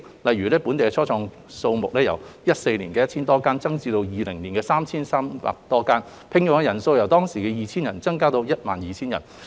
例如，本地初創企業的數目由2014年的 1,000 多間，增至2020年的 3,300 多間，所聘用的人數亦由 2,000 多增至超過 12,000 人。